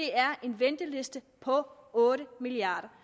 er en venteliste på otte milliard